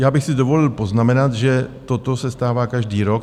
Já bych si dovolil poznamenat, že toto se stává každý rok.